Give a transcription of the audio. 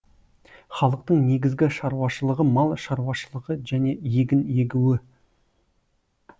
халықтың негізгі шаруашылығы мал шаруашылығы және егін егіу